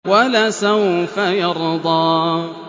وَلَسَوْفَ يَرْضَىٰ